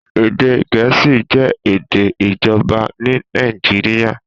Èdè Gẹ̀ẹ́sì jẹ́ èdè ìjọba ní Nàìjíríà.